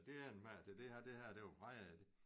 Det endte med at det her det her det var jo fredag